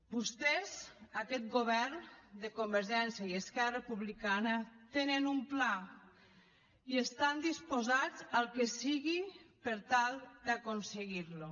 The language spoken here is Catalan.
vostès aquest govern de convergència i esquerra republicana tenen un pla i estan disposats al que sigui per tal d’aconseguir lo